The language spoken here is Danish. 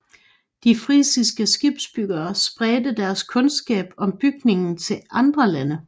De frisiske skibsbyggere spredte deres kundskab om bygningen til andre lande